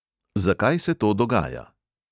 Zakaj se to dogaja?